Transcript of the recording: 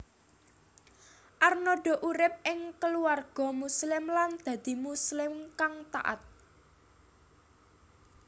Arnada urip ing keluarga Muslim lan dadi Muslim kang taat